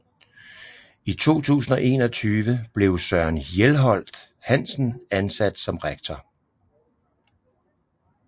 I 2021 blev Søren Hjelholt Hansen ansat som rektor